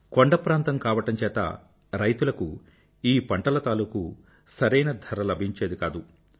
కొండప్రాంతం కావడం చేత రైతులకు ఈ పంటల తాలూకూ సరైన ధర లభించేది కాదు